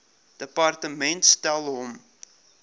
departement stel hom